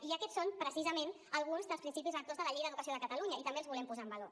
i aquests són precisament alguns dels principis rectors de la llei d’educació de catalunya i també els volem posar en valor